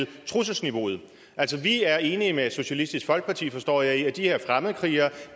trusselsniveauet altså vi er enige med socialistisk folkeparti forstår jeg i at de her fremmedkrigere